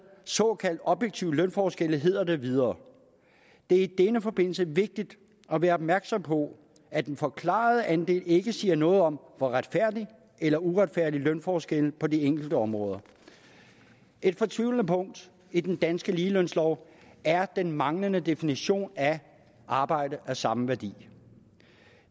såkaldte objektive lønforskelle hedder det videre det er i denne forbindelse vigtigt at være opmærksom på at den forklarede andel ikke siger noget om hvor retfærdig eller uretfærdig lønforskelle på de enkelte områder er et fortvivlende punkt i den danske ligelønslov er den manglende definition af arbejde af samme værdi